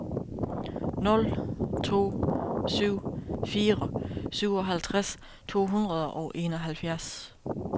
nul to syv fire syvoghalvtreds to hundrede og enoghalvfjerds